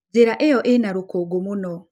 Njĩra ĩyo ĩna rũkũngũ mũno.